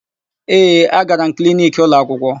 Ee, agara m kliniki ụlọakwụkwọ.